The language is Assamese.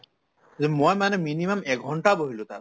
মই মানে minimum একঘণ্টা বহিলো তাত